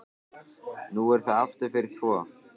Nú er það aftur fyrir tvo.